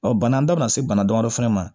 Ɔ bana bɛɛ bɛ na se bana damadɔ fana ma